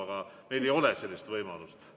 Aga muidu meil ei ole sellist võimalust.